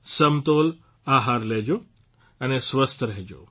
સમતોલ આહાર લેજો અને સ્વસ્થ રહેજો